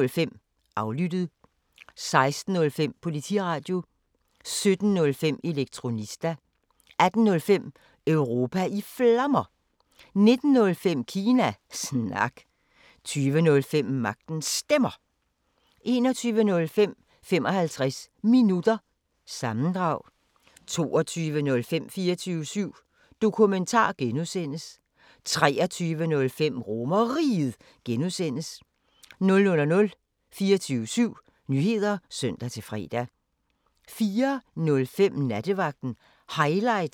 16:05: Politiradio 17:05: Elektronista 18:05: Europa i Flammer 19:05: Kina Snak 20:05: Magtens Stemmer 21:05: 55 Minutter – sammendrag 22:05: 24syv Dokumentar (G) 23:05: RomerRiget (G) 00:00: 24syv Nyheder (søn-fre) 04:05: Nattevagten Highlights (søn-fre)